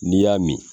N'i y'a min